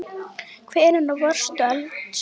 Hvenær varðstu eldsins var?